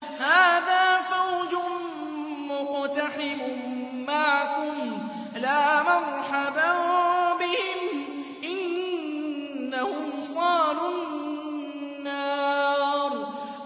هَٰذَا فَوْجٌ مُّقْتَحِمٌ مَّعَكُمْ ۖ لَا مَرْحَبًا بِهِمْ ۚ إِنَّهُمْ صَالُو النَّارِ